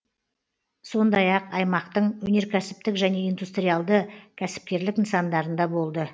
сондай ақ аймақтың өнеркәсіптік және индустриалды кәсіпкерлік нысандарында болды